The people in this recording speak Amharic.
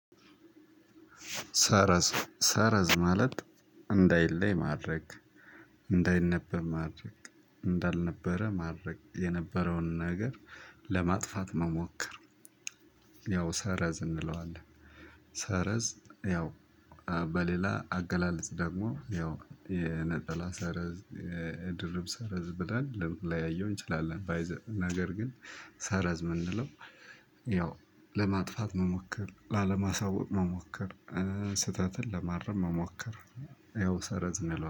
ሰረዝ ሰረዝ ማለት እንዳይለይ ማድረግ እንዳይነበብ ማድረግ እንዳልነበረ ማድረግ የነበረውን ነገር ለማጥፋት መሞከር ያው ሰረዝ እንለዋለን። ሰረዝ ያው እ በሌላ አገላለጽ ደግሞ ያው የነጠላ ሰረዝ የድርብ ሰረዝ ብለን ልንለያየው እንችላለን። ባይ ዘ ነገር ግን ሳረዝ የምንለው ያው ለማጥፋት መሞከር ላለማሳወቅ መሞከር። ስህተትን ለማረም መሞከር ያው ሰረዝ እንለዋለን